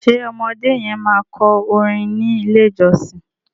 ṣe ọmọdé yen ma kọ orin ní ilè ìjósìn?